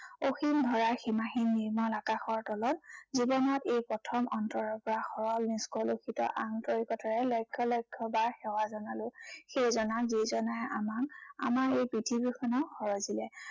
অসীম ধৰা, সীমাহীন নিৰ্মল আকাশৰ তলত জীৱনৰ এই প্ৰথম অন্তৰৰ পৰা সৰল নিস্কলুশিত আন্তৰিকতাৰে লক্ষ্য় লক্ষ্য় বাৰ সেৱা জনালো সেইজনাক, যিজনাই আমাক, আমাৰ এই পৃথিৱীখনক সৰজিলে।